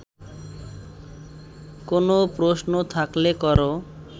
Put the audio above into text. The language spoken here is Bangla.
কোনও প্রশ্ন থাকলে কর